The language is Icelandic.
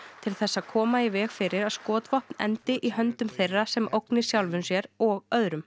til þess að koma í veg fyrir að skotvopn endi í höndum þeirra sem ógni sjálfum sér og öðrum